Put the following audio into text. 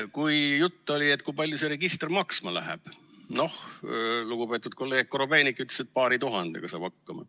Kui jutt oli, et kui palju see register maksma läheb, siis lugupeetud kolleeg Korobeinik ütles, et paari tuhandega saab hakkama.